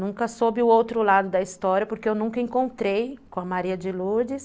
Nunca soube o outro lado da história, porque eu nunca encontrei com a Maria de Lourdes,